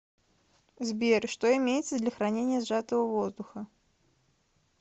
сбер что имеется для хранения сжатого воздуха